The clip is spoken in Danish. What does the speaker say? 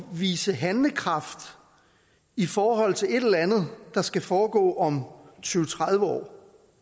vise handlekraft i forhold til et eller andet der skal foregå om tyve til tredive år